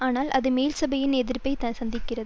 ஆனால் அது மேல்சபையின் எதிர்ப்பை சந்திக்கிறது